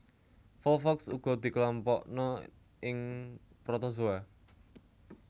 Volvox uga dikelompokna ing protozoa